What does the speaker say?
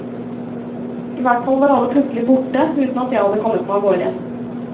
I hvert fall var alle plutselig borte, uten at jeg hadde kommet meg av gårde.